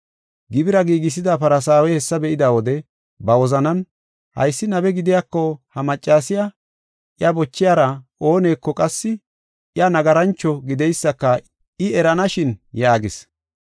Gibira giigisida Farsaawey hessa be7ida wode ba wozanan, “Haysi nabe gidiyako ha maccasiya, iya bochiyara ooneko qassi iya nagarancho gideysaka I eranashin” yaagis.